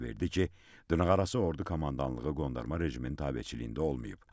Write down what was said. İfadə verdi ki, dırnaqarası ordu komandanlığı qondarma rejimin tabeçiliyində olmayıb.